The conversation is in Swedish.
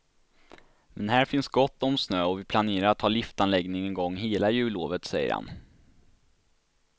Men här finns gott om snö och vi planerar att ha liftanläggningen i gång hela jullovet, säger han.